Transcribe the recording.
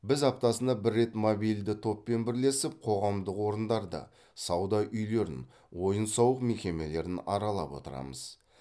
біз аптасына бір рет мобильді топпен бірлесіп қоғамдық орындарды сауда үйлерін ойын сауық мекемелерін аралап отырамыз